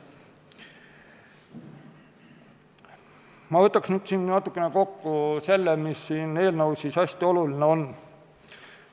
Ma võtan natuke kokku selle, mis siin eelnõus hästi oluline on.